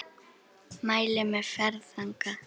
Mæli með ferð þangað!